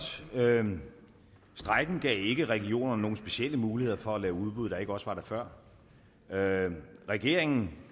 strejken gav ikke regionerne nogen specielle muligheder for at lave udbud der ikke også var der før regeringen